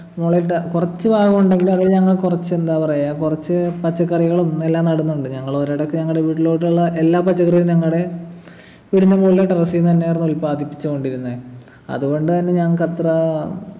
മുളയിട്ട കുറച്ചു നാൾ ഉണ്ടെങ്കിൽ അതിൽ ഞങ്ങൾ കുറച്ചെന്താ പറയാ കുറച്ച് പച്ചക്കറികളും എല്ലാം നടുന്നുണ്ട് ഞങ്ങളൊരേടൊക്കെ ഞങ്ങടെ വീട്ടിലോട്ടുള്ള എല്ലാ പച്ചക്കറിയും ഞങ്ങടെ വീടിൻ്റെ മോളിലെ terrace ന്ന് തന്നെയാർന്നു ഉൽപാദിപ്പിച്ചുകൊണ്ടിരുന്നേ അതുകൊണ്ടു തന്നെ ഞങ്ങക്കത്ര